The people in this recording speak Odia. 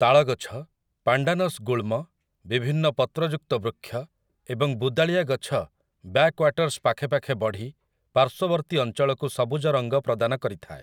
ତାଳ ଗଛ, ପାଣ୍ଡାନସ ଗୁଳ୍ମ, ବିଭିନ୍ନ ପତ୍ରଯୁକ୍ତ ବୃକ୍ଷ, ଏବଂ ବୁଦାଳିଆ ଗଛ ବ୍ୟାକ୍‌ୱାଟର୍ସ୍‌ ପାଖେପାଖେ ବଢ଼ି ପାର୍ଶ୍ୱବର୍ତ୍ତୀ ଅଞ୍ଚଳକୁ ସବୁଜ ରଙ୍ଗ ପ୍ରଦାନ କରିଥାଏ ।